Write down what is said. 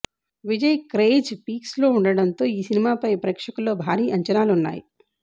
విజరు craze peaks లో ఉండడంతో ఈ సినిమాపై ప్రేక్షకుల్లో భారీ అంచనాలు ఉన్నాయి